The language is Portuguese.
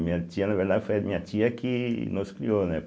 Minha tia, na verdade, foi a minha tia que nos criou, né?